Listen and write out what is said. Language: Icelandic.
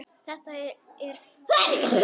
Þetta er fis.